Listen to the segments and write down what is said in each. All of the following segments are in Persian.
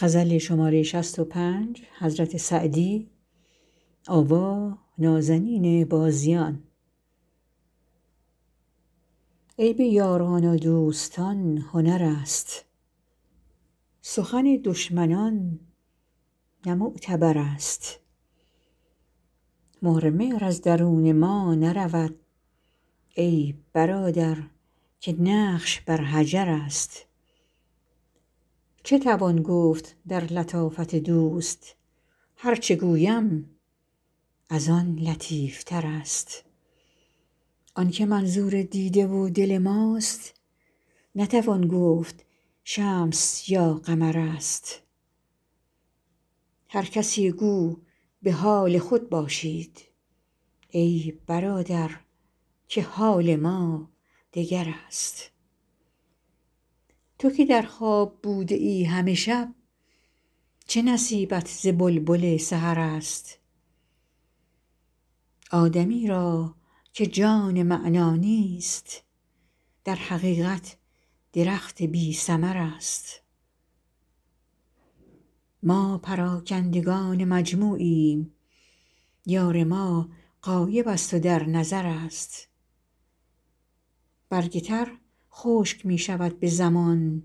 عیب یاران و دوستان هنر است سخن دشمنان نه معتبر است مهر مهر از درون ما نرود ای برادر که نقش بر حجر است چه توان گفت در لطافت دوست هر چه گویم از آن لطیف تر است آن که منظور دیده و دل ماست نتوان گفت شمس یا قمر است هر کسی گو به حال خود باشید ای برادر که حال ما دگر است تو که در خواب بوده ای همه شب چه نصیبت ز بلبل سحر است آدمی را که جان معنی نیست در حقیقت درخت بی ثمر است ما پراکندگان مجموعیم یار ما غایب است و در نظر است برگ تر خشک می شود به زمان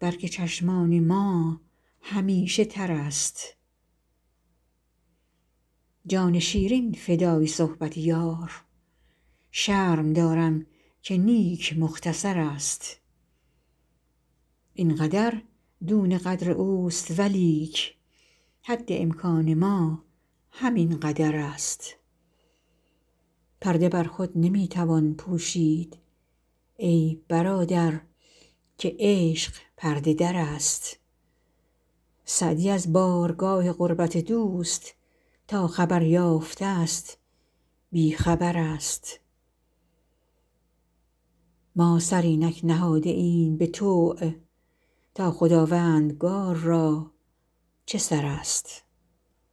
برگ چشمان ما همیشه تر است جان شیرین فدای صحبت یار شرم دارم که نیک مختصر است این قدر دون قدر اوست ولیک حد امکان ما همین قدر است پرده بر خود نمی توان پوشید ای برادر که عشق پرده در است سعدی از بارگاه قربت دوست تا خبر یافته ست بی خبر است ما سر اینک نهاده ایم به طوع تا خداوندگار را چه سر است